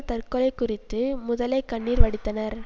தற்கொலை குறித்து முதலை கண்ணீர் வடித்தனர்